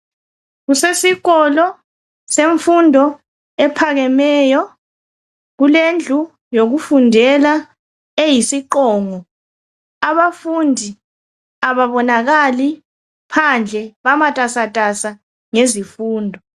Kusesikolo semfundo ephakemeyo. Kulendlu zokufundela eyisiqongo. Abafundi ababonakali phandle. Bamatasatasa ngezifundo.